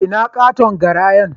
Ina katon garayan?